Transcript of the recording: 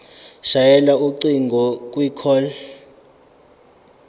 shayela ucingo kwicall